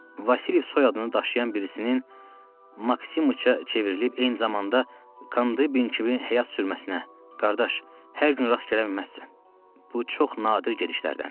Vasilyev soyadını daşıyan birisinin Maksimiçə çevrilib eyni zamanda Kanbi Bin kimi həyat sürməsinə, qardaş, hər gün rast gələ bilməzsən, bu çox nadir gedişlərdəndir.